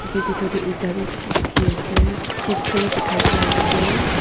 tu bhedor they eta beh beshe dekhe ase chips khan beh dekhai dease.